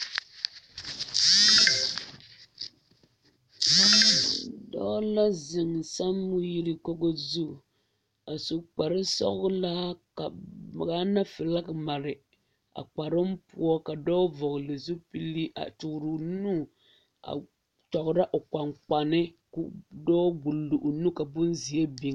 Dɔɔ la zeŋ sanweere kogo zu a su kpare sɔglaa ka Gaana filaaki mare a kparoo poɔ ka dɔɔ vɔgle zupili a toɔre o nu a kyɔgrɔ o kpaŋkpane ka dɔɔ gbuli o nu ka bonzeɛ biŋ.